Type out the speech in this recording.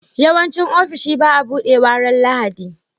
yawanci ofishi baa buɗewa ran lahadi